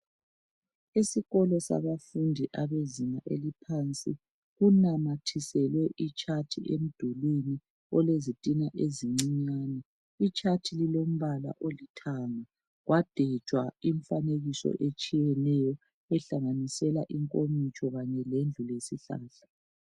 Isikolo sabafundi abezinga eliphansi kunamathiselwe itshathi emdulwini olezitina ezincinyane ,itshathi lilombala olithanga kwadwetshwa imifanekiso etshiyeneyo ehlanganisela inkomitsho kanye lendlu lesihlahla.